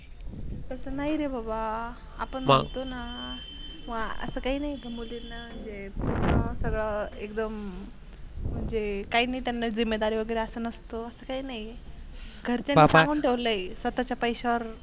तस नाहीरे बाबा, आपण म्हणतोना वा अस काही नाही मुलीना जे सगळ एकदम म्हणजे काहीना त्यांना जीमेदारी वगेरे अस नसत काही नाही. घरच्यांना सांगून ठेवलय स्वताच्या पैशावर